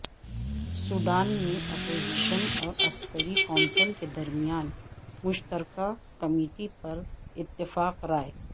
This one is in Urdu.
سوڈان میں اپوزیشن اور عسکری کونسل کے درمیان مشترکہ کمیٹی پر اتفاق رائے